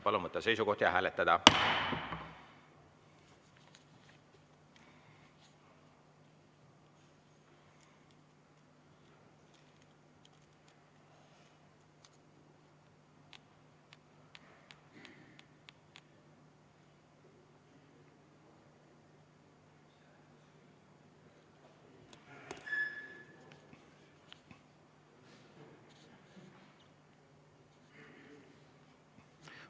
Palun võtta seisukoht ja hääletada!